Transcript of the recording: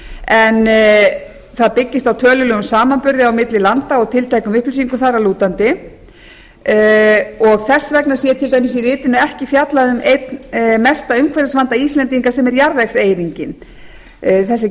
en það byggist á tölulegum samanburði á milli landa og tilteknum upplýsingum þar að lútandi þess vegna sé til dæmis í ritinu ekki fjallað um einn mesta umhverfisvanda íslendinga sem er jarðvegseyðingin þess er getið